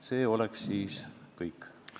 See oleks kõik.